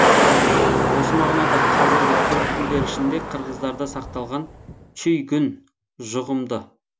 осы мағынада қазіргі түркі тілдері ішінде қырғыздарда сақталған чүйгүн жұғымды